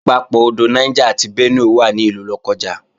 Ìpapọ̀ odò Niger àti Benue wà ní ìlú Lọ́kọ́ja